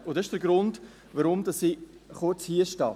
Und das ist der Grund, warum ich kurz hier stehe.